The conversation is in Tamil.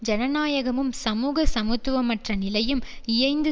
ஜனநாயகமும் சமூக சமத்துவமற்ற நிலையும் இயைந்து